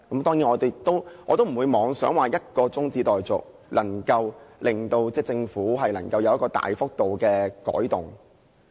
當然，我不會妄想以一項中止待續議案便能夠令政府作出大幅度的改動。